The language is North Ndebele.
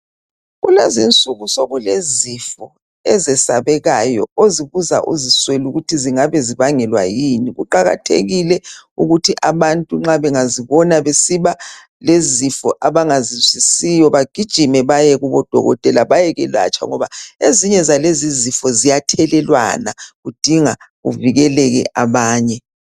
Kulezinsuku sokulezifo ezesabekayo ozibuza uziswele ukuthi zingabe zibangelwa yini kuqakathekile ukuthi abantu nxa bengazibona besiba lezifo abangazizwisisiyo bagijime baye kubodokotela bayekwelatshwa ngoba ezinye zalezi zifo ziyathelelwana kudinga kuvikeleke abanye.